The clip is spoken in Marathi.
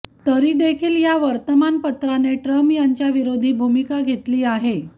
तरीदेखील या वर्तमानपत्राने ट्रम्प यांच्या विरोधी भूमिका घेतली आहे